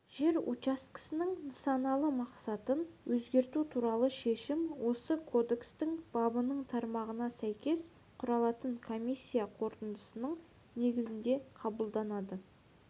жер учаскесінің нысаналы мақсатын өзгерту туралы шешім осы кодекстің бабының тармағына сәйкес құрылатын комиссия қорытындысының негізінде қабылданады